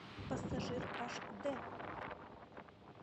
пассажир аш д